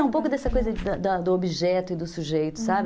É, um pouco dessa coisa da do objeto e do sujeito, sabe? Uhum.